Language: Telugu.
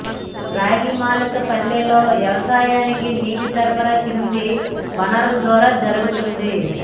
రాగిమాకులపల్లెలో వ్యవసాయానికి నీటి సరఫరా కింది వనరుల ద్వారా జరుగుతోంది